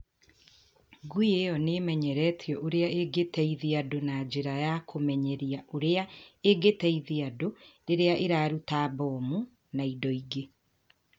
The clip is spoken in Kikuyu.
Ngui ĩyo nĩ ĩmenyeretio ũrĩa ĩngĩteithia andũ na njĩra ya kũmenyeria ũrĩa ĩngĩteithia andũ rĩrĩa ĩraruta mbomu na indo ingĩ.